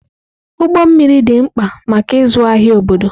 Ụgbọ mmiri dị mkpa maka ịzụ ahịa obodo.